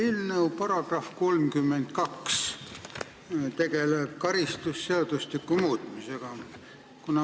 Eelnõu § 32 tegeleb karistusseadustiku muutmisega.